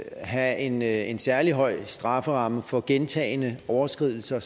have en en særlig høj strafferamme for gentagne overskridelser